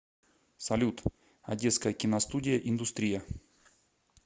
салют одесская киностудия индустрия